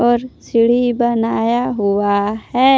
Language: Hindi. और सीढ़ी बनाया हुआ है।